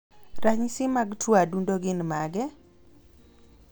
ranyisi mag tuo adundo gin mage?